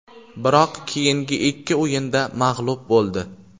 Biroq keyingi ikki o‘yinda mag‘lub bo‘ldi.